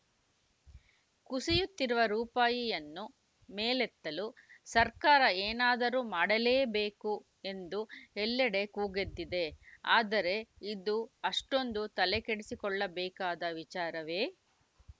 ಕುಸಿಯುತ್ತಿರುವ ರೂಪಾಯಿಯನ್ನು ಮೇಲೆತ್ತಲು ಸರ್ಕಾರ ಏನಾದರೂ ಮಾಡಲೇಬೇಕು ಎಂದು ಎಲ್ಲೆಡೆ ಕೂಗೆದ್ದಿದೆ ಆದರೆ ಇದು ಅಷ್ಟೊಂದು ತಲೆಕೆಡಿಸಿಕೊಳ್ಳಬೇಕಾದ ವಿಚಾರವೇ